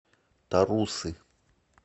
тарусы